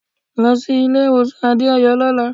Lọ sí ilé-ìwọ̀sàn Adéọ̀yọ́ lọ́la.